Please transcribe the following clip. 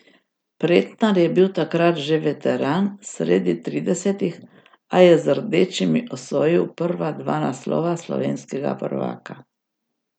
Pretnar je bil takrat že veteran sredi tridesetih, a je z rdečimi osvojil prva dva naslova slovenskega prvaka.